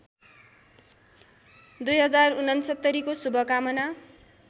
२०६९ को शुभकामना